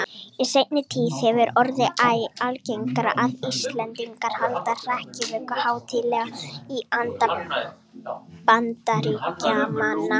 Í seinni tíð hefur orðið æ algengara að Íslendingar haldi hrekkjavöku hátíðlega í anda Bandaríkjamanna.